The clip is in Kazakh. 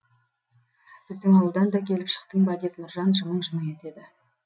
біздің ауылдан да келіп шықтың ба деп нұржан жымың жымың етеді